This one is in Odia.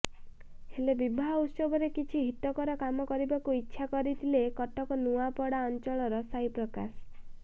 ହେଲେ ବିବାହ ଉତ୍ସବରେ କିଛି ହିତକର କାମ କରିବାକୁ ଇଚ୍ଛା କରିଥିଲେ କଟକ ନୂଆପଡା ଅଂଚଳର ସାଇପ୍ରକାଶ